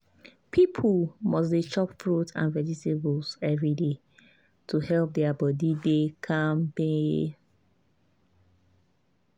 people must dey chop fruit and vegetables every day to help their body dey kampe.